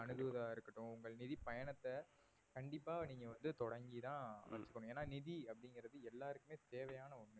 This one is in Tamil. அணுகுவதா இருக்கட்டும் உங்கள் நிதி பயணத்தை கண்டிப்பா நீங்க வந்து தொடங்கி தான் ஆகணும் ஏன்னா நிதி அப்படிங்கிறது எல்லாருக்குமே தேவையான ஒண்ணு